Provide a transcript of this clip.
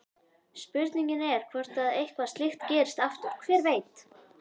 Spurningin er hvort að eitthvað slíkt gerist aftur, hver veit?